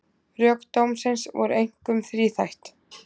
Rök dómsins voru einkum þríþætt